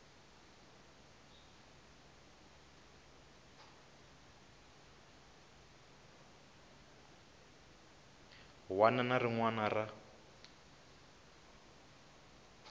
wana na rin wana ra